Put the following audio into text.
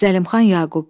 Zəlimxan Yaqub.